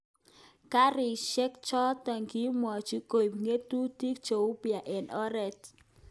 Garishek chotok kipwotchin koip ng'atutik cheumpya eng oret